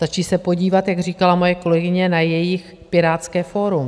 Stačí se podívat, jak říkala moje kolegyně, na jejich Pirátské fórum.